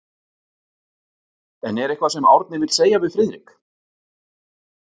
En er eitthvað sem Árni vill segja við Friðrik?